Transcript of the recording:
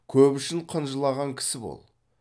көп үшін қынжылаған кісі бол